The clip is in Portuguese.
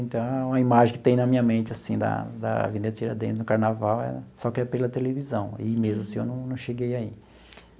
Então, a imagem que tem na minha mente assim da da Avenida Tiradentes no carnaval é só pela televisão, ir mesmo assim eu não não cheguei a ir.